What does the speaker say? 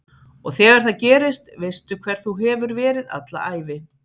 Og þegar það gerist veistu hver þú hefur verið alla ævi